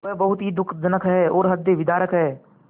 वह बहुत ही दुःखजनक और हृदयविदारक है